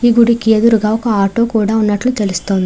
ఈ గుడికి ఎదురుగా ఒక ఆటో కూడా ఉన్నట్లు తెలుస్తోంది.